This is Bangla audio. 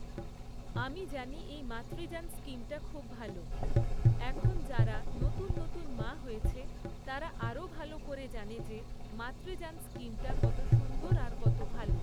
আমি জানি এই মাতৃযান স্কিমটা খুব ভালো। এখন যারা নতুন নতুন মা হয়েছে, তারা আরও ভালো করে জানে যে মাতৃযান স্কিমটা কতো সুন্দর আর কত ভালো।